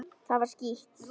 Það var skítt.